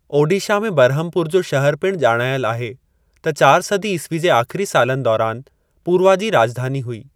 ओडीशा में बरहमपुर जो शहरु पिणु ॼाणायल आहे त चार सदी ईस्वी जे आख़िरी सालनि दौरानि पूर्वा जी राॼधानी हुई।